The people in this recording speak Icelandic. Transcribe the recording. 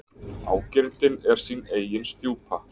Ágirndin er sín eigin stjúpa.